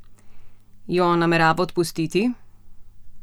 Jo namerava odpustiti?